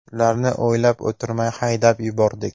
Ularni o‘ylab o‘tirmay haydab yuborardik.